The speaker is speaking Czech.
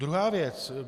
Druhá věc.